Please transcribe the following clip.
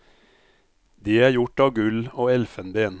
De er gjort av gull og elfenben.